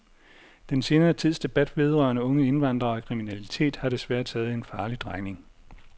Den senere tids debat vedrørende unge indvandrere og kriminalitet har desværre taget en farlig drejning.